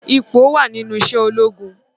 Ipò wa nínú iṣẹ́ ológun.